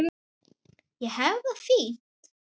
Og hefur það fínt.